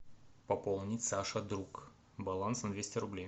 пополнить саша друг баланс на двести рублей